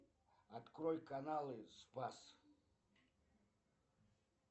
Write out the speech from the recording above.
открой каналы спас